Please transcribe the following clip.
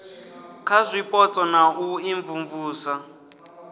kha zwipotso na u imvumvusa